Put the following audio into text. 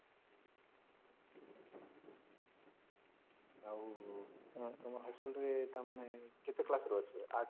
ଆଉ ତମ high school ରେ ତାମାନେ କେତେ class ରୁ ଅଛି ୮